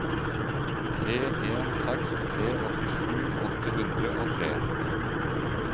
tre en seks tre åttisju åtte hundre og tre